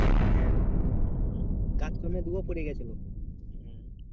হ্যাঁ গাছ পড়ে গেছিল।